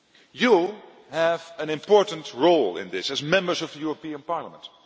You have an important role in this, as Members of the European Parliament.